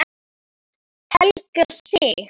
Helga Sig.